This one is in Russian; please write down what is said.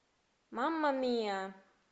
мама мия